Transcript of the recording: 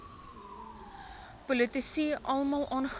politici almal aangeraak